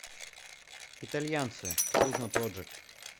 итальянцы кузно проджект